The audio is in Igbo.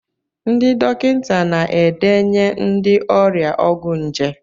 Ndị dọkịta na-edenye ndị ọrịa ọgwụ nje.